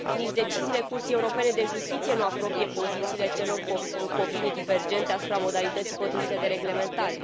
Deciziile Curții Europene de Justiție nu apropie pozițiile celor cu opinii divergente asupra modalității potrivite de reglementare.